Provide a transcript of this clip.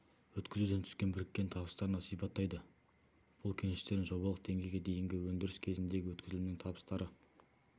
өткізуден түскен біріккен табыстарын да сипаттайды бұл кеніштердің жобалық деңгейге дейінгі өндіріс кезіндегі өткізілімнің табыстары